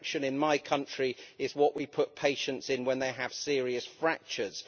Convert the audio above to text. Traction in my country is what we put patients in when they have serious fractures.